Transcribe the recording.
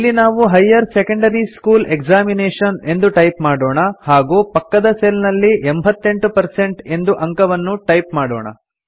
ಇಲ್ಲಿ ನಾವು higher secondary school examination ಎಂದು ಟೈಪ್ ಮಾಡೋಣ ಹಾಗೂ ಪಕ್ಕದ ಸೆಲ್ ನಲ್ಲಿ 88 ಪರ್ಸೆಂಟ್ ಎಂದು ಅಂಕವನ್ನು ಟೈಪ್ ಮಾಡೋಣ